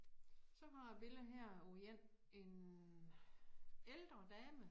Så har billede her af én en ældre dame